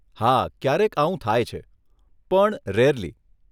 હા ક્યારેક આવું થાય છે, પણ રેરલી